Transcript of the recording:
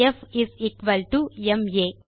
ப் is equal to M ah